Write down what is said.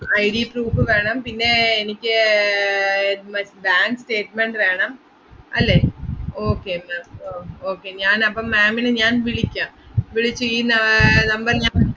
IDproof വേണം, പിന്നെ എനിക്ക് ഏർ മറ്റ്~ bank statement വേണം, അല്ലേ? okay ma'am ഓ~ okay ഞാനപ്പം ma'am ഇനെ ഞാൻ വിളിക്കാം, വിളിച്ച് ഈ ന~ ഏർ number ല് ഞാൻ